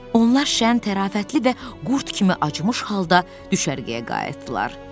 Onlar şən, tərafətli və qurd kimi acmış halda düşərgəyə qayıtdılar.